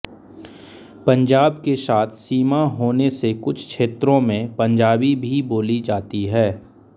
पंजाब के साथ सीमा होने से कुछ क्षेत्रों में पंजाबी भी बोली जाती हैं